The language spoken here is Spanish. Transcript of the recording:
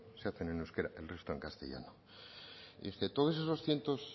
se hacen en euskera el resto en castellano y entonces esos cientos